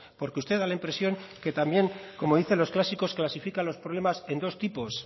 porque usted da la impresión que también como dice los clásicos clasifica los problemas en dos tipos